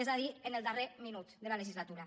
és a dir en el darrer minut de la legislatura